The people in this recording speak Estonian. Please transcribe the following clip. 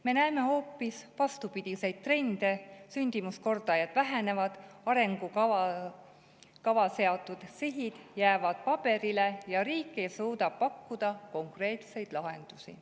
Me näeme hoopis vastupidiseid trende: sündimuskordajad vähenevad, arengukavas seatud sihid jäävad paberile ja riik ei suuda pakkuda konkreetseid lahendusi.